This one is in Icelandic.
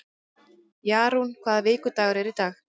Jarún, hvaða vikudagur er í dag?